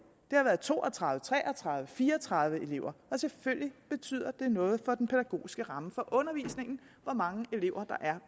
der har været to og tredive tre og tredive fire og tredive elever og selvfølgelig betyder det noget for den pædagogiske ramme for undervisningen hvor mange elever der er